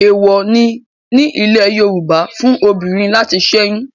Èwọ̀ọ̀ ni ní ilẹ̀ Yorùbá fún obìnrin láti sẹ́yún.